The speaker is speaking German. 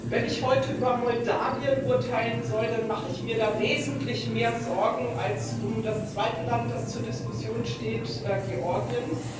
Wenn ich heute über Moldawien urteilen soll, dann mache ich mir da wesentlich mehr Sorgen als um das zweite Land, das zur Diskussion steht, Georgien.